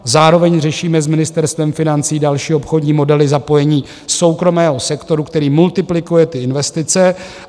Zároveň řešíme s Ministerstvem financí další obchodní modely zapojení soukromého sektoru, který multiplikuje ty investice.